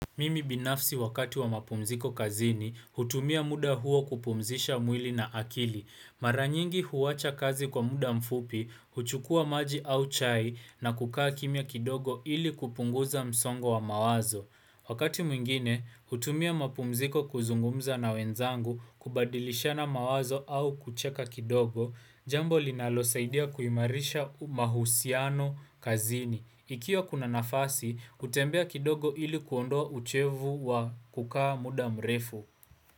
Mimi binafsi wakati wa mapumziko kazini, hutumia muda huo kupumzisha mwili na akili. Mara nyingi huacha kazi kwa muda mfupi, huchukua maji au chai na kukaa kimya kidogo ili kupunguza msongo wa mawazo. Wakati mwingine, hutumia mapumziko kuzungumza na wenzangu kubadilishana mawazo au kucheka kidogo, jambo linalosaidia kuimarisha mahusiano kazini. Ikiwa kuna nafasi, hutembea kidogo ili kuondoa uchovu wa kukaa muda mrefu.